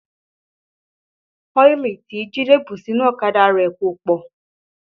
Ọ́ìlì tí Jide bù sínú ọ̀kadà rẹ̀ kò pọ̀